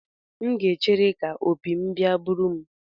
M ga-echere ka opi m bia buru m.